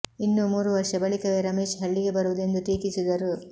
ಇನ್ನೂ ಮೂರು ವರ್ಷ ಬಳಿಕವೇ ರಮೇಶ್ ಹಳ್ಳಿಗೆ ಬರುವುದು ಎಂದು ಟೀಕಿಸಿದರು